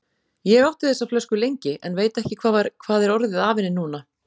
Ég átti þessa flösku lengi, en veit ekki hvað er orðið af henni núna.